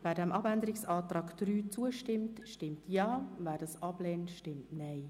Wer dem Abänderungsantrag 3 zustimmt, stimmt Ja, wer diesen ablehnt, stimmt Nein.